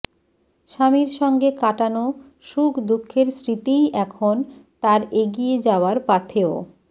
স্বামীর সঙ্গে কাটানো সুখ দুঃখের স্মৃতিই এখন তাঁর এগিয়ে যাওয়ার পাথেয়